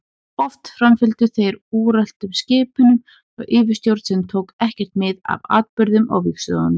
Oft framfylgdu þeir úreltum skipunum frá yfirstjórn sem tók ekkert mið af atburðum á vígstöðvunum.